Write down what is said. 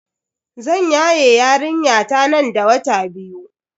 Zan yaye yarinyata nan da wata biyu.